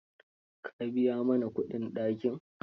Ka biya mana kudin dakin?